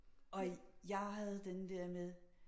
Og jeg havde den der med